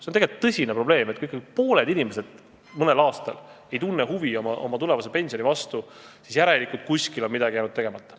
See on suur probleem, sest kui pooled inimesed mõnel aastal ei tunne huvi oma tulevase pensioni vastu, siis järelikult on kuskil jäänud midagi tegemata.